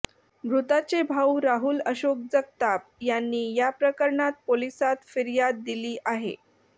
मृताचे भाऊ राहुल अशोक जगताप यांनी या प्रकरणात पोलिसात फिर्य़ाद दिली आहे